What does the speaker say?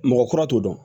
Mɔgɔ kura t'o dɔn